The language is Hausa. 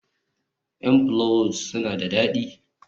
m pollows suna da dadi